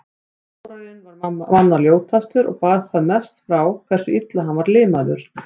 Þórarinn var manna ljótastur og bar það mest frá hversu illa hann var limaður.